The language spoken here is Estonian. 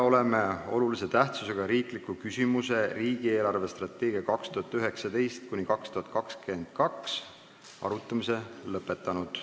Oleme olulise tähtsusega riikliku küsimuse "Riigi eelarvestrateegia 2019–2022" arutamise lõpetanud.